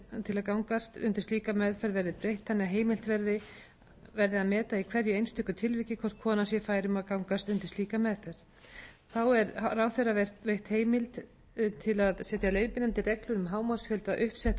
til að gangast undir slíka meðferð verði breytt þannig að heimilt verði meta í hverju einstöku tilviki hvort kona sé fær um að gangast undir slíka meðferð þá er ráðherra veitt heimild til að setja leiðbeinandi reglur um hámarksfjölda uppsettra fósturvísa og loks